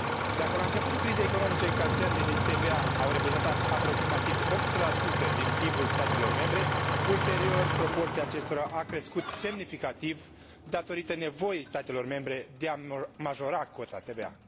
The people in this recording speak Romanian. Dacă la începutul crizei economice încasările din TVA au reprezentat aproximativ 8 din PIB ul statelor membre, ulterior proporția acestora a crescut semnificativ, datorită nevoii statelor membre de a majora cota TVA.